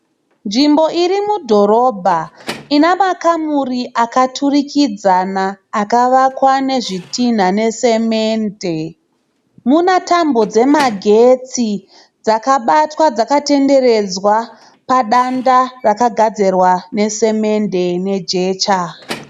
Nzvimbo irimudhorobha ina makamuri akaturikidzana akavakwa ne zvitinha neSemende. Mune tambo dzemagetsi dzakabatwa dzakatenderedzwa padanda rakagadzirwa ne semende nejecha.